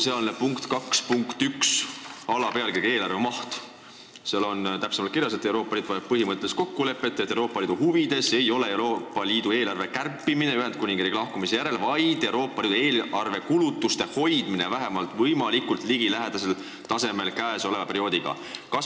Selles on alapealkirja "Eelarve maht" all täpsemalt kirjas, et Euroopa Liit vajab põhimõttelist kokkulepet, et Euroopa Liidu huvides ei ole Ühendkuningriigi lahkumise järel ühenduse eelarvet kärpida, vaid hoida kulutused vähemalt võimalikult samal tasemel kui praegusel perioodil.